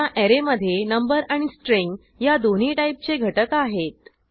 ह्या ऍरे मधे नंबर आणि स्ट्रिंग ह्या दोन्ही टाईपचे घटक आहेत